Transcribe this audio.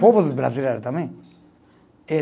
Povos brasileiro também. Eh